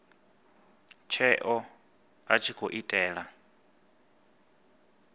tsheo a tshi khou itela